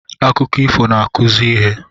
Akụkọ ifo n'akụzi ihe